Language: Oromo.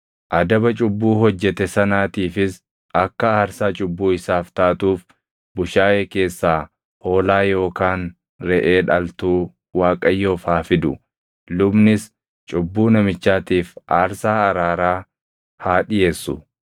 adaba cubbuu hojjete sanaatiifis akka aarsaa cubbuu isaaf taatuuf bushaayee keessaa hoolaa yookaan reʼee dhaltuu Waaqayyoof haa fidu; lubnis cubbuu namichaatiif aarsaa araaraa haa dhiʼeessu.